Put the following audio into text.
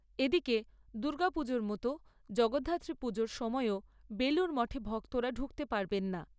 এদিকে, দুর্গাপুজোর মতো জগদ্ধাত্রী পুজোর সময়ও বেলুড় মঠে ভক্তরা ঢুকতে পারবেন না।